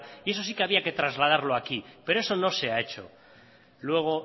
y eso sí que había que trasladarlo aquí pero eso no se ha hecho luego